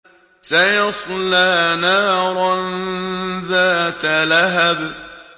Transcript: سَيَصْلَىٰ نَارًا ذَاتَ لَهَبٍ